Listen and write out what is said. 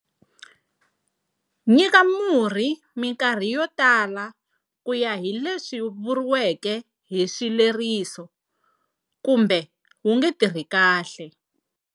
Nyika murhi minkarhi yo tala ku ya hi leswi vuriwaka hi swileriso, kumbe wu nge tirhi kahle.